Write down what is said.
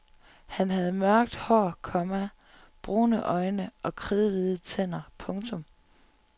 Han havde mørkt hår, komma brune øjne og kridhvide tænder. punktum